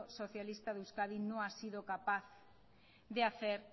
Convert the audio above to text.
socialista de euskadi no ha sido capaz de hacer